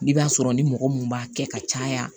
I b'a sɔrɔ ni mɔgɔ mun b'a kɛ ka caya